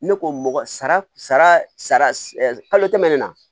Ne ko mɔgɔ sara sara kalo tɛmɛn ne na